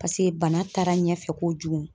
Pase bana taara ɲɛfɛ kojugu.